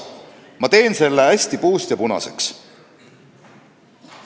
Ma teen selle hästi puust ja punaseks.